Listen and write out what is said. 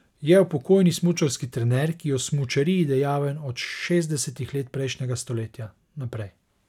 Je upokojeni smučarski trener, ki je v smučariji dejaven od šestdesetih let prejšnjega stoletja naprej.